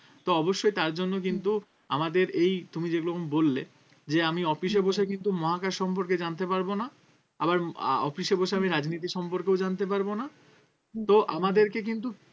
তো অবশ্যই তার জন্য কিন্তু আমাদের এই তুমি যেগুলো এখন বললে যে আমি office এ বসে কিন্তু মহাকাশ সম্পর্কে জানতে পারবো না আবার আহ office এ বসে আমি রাজনীতি সম্পর্কেও জানতে পারবো না তো আমাদেরকে কিন্তু